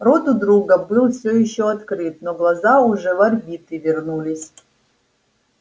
рот у друга был всё ещё открыт но глаза уже в орбиты вернулись